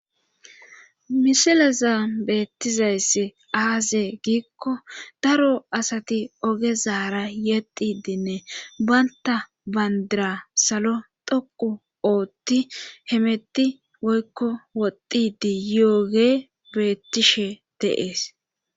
Misilaza beettizayss aaze giikko daro asati ogezaara yexidinne baynta bandira salo dhoqu oothti hemetti woykko woddidi yooge beettishe deees.